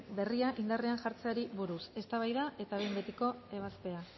berria indarrean jartzeari buruz eztabaida eta behin betiko ebazpena